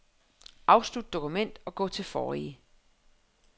Afslut dokument og gå til forrige.